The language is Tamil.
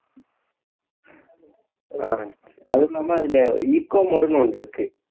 ஆஹ் அதும் இல்லாம அதுல eco mode ன்னு ஒண்ணு இருக்கு